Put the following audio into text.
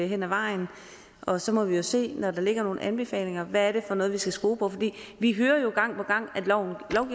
hen ad vejen og så må vi se når der ligger nogle anbefalinger hvad det er for noget vi skal skrue på for vi hører jo gang på gang